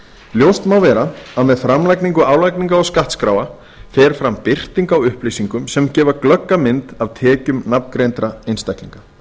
ljóst má vera að með framlagningu álagningar og skattskráa fer fram birting á upplýsingum sem gefa glögga mynd af tekjum nafngreindra einstaklinga